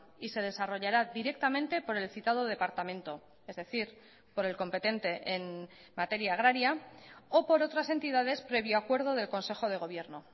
y se desarrollará directamente por el citado departamento es decir por el competente en materia agraria o por otras entidades previo acuerdo del consejo de gobierno